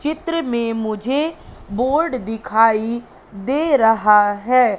चित्र में मुझे बोर्ड दिखाई दे रहा है।